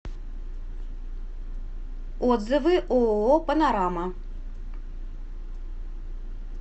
отзывы ооо панорама